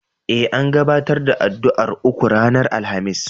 E, an gabatar da addu'ar uku ranar Alhamis.